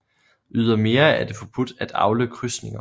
Ydermere er det forbudt at avle krydsninger